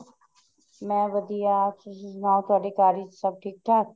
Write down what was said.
ਮੈਂ ਵਧੀਆ ਤੁਸੀਂ ਸੁਨਾਹੋ ਤੁਹਾਡੇ ਘਰ ਵਿੱਚ ਸਭ ਠੀਕ ਠਾਕ